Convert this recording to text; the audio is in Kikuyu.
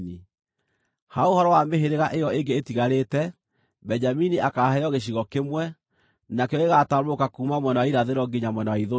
“Ha ũhoro wa mĩhĩrĩga ĩyo ĩngĩ ĩtigarĩte: Benjamini akaaheo gĩcigo kĩmwe; nakĩo gĩgaatambũrũka kuuma mwena wa irathĩro nginya mwena wa ithũĩro.